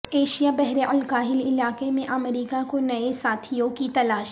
Asia بحر الکاہل علاقے میں امریکہ کو نئے ساتھیوں کی تلاش